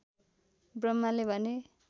ब्रह्माले भने